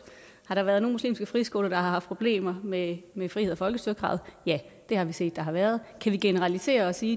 har der været nogle muslimske friskoler der har haft problemer med med frihed og folkestyre kravet ja det har vi set at der har været kan vi generalisere og sige